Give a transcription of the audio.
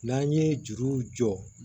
N'an ye juruw jɔ